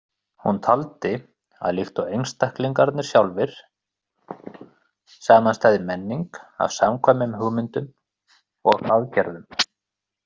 Hún taldi að líkt og einstaklingarnir sjálfir samanstæði menning af samkvæmum hugmyndum og aðgerðum.